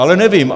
Ale nevím.